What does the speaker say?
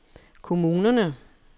kommunerne